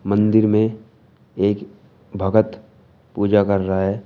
मंदिर में एक भगत पूजा कर रहा है।